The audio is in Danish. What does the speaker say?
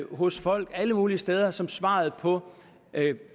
hos folk alle mulige steder som svaret på